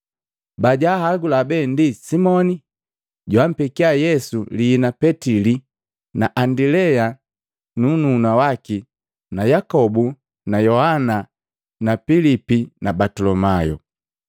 Bajahagula be ndi Simoni, joampekia Yesu liina Petili na Andilea nnuhuna waki na Yakobu na Yohana na Pilipi na Batolomayu.